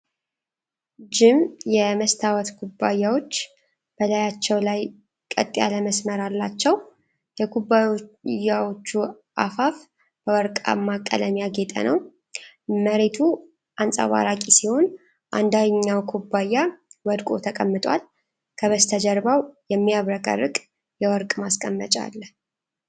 ጅም የመስታወት ኩባያዎች በላያቸው ላይ ቀጥ ያለ መስመር አላቸው። የኩባያዎቹ አፋፍ በወርቃማ ቀለም ያጌጠ ነው። መሬቱ አንጸባራቂ ሲሆን አንደኛው ኩባያ ወድቆ ተቀምጧል። ከበስተጀርባው የሚያብረቀርቅ የወርቅ ማስቀመጫ አለ።